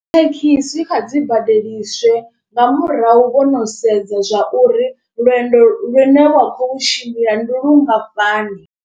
Thekhisi kha dzi badeliswe nga murahu vho no sedza zwa uri lwendo lune wa khou lu tshimbila ndi lungafhani.